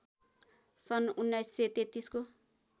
सन् १९३३ को